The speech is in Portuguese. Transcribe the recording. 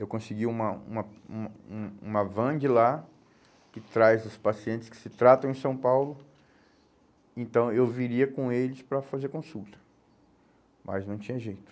Eu consegui uma uma um um uma van de lá, que traz os pacientes que se tratam em São Paulo, então eu viria com eles para fazer consulta, mas não tinha jeito.